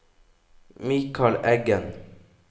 Mikal Eggen